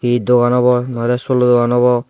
he dogan obo no ole solo dogan obo.